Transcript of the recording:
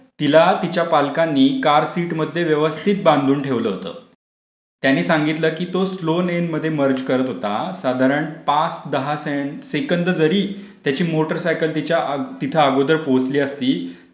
तिला तिच्या पालकांनी कार सीटमध्ये व्यवस्थित बांधून ठेवलं होतं. त्यांनी सांगितलं की तो स्लो लेनमध्ये मर्ज करत होता साधारण पाच दहा सेकंद जरी मोटर सायकल तिथे अगोदर पोहोचली असती.